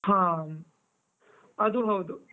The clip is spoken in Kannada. ಹಾ, ಅದು ಹೌದು.